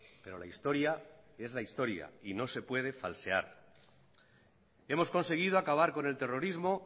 pero la historia es la historia y no se puede falsear hemos conseguido acabar con el terrorismo